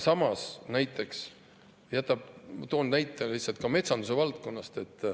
Ma toon näite lihtsalt metsanduse valdkonnast.